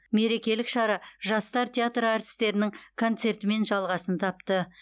мерекелік шара жастар театры әртістерінің концертімен жалғасын тапты